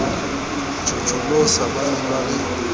tjhotjholosa ba ne ba le